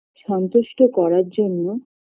সন্তুষ্ট করার জন্য